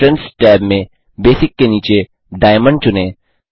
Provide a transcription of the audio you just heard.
entrance tab में basic के नीचे डायमंड चुनें